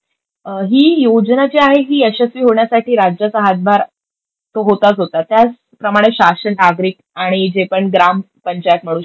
ही योजना जी आहे ही यशस्वी होण्यासाठी राज्याचा हातभार तो होताच होता त्याचप्रमाणे शासन, नागरिक आणि जेपण ग्रामपंचायत म्हणू शकतो,